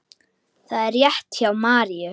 Það er rétt hjá Maríu.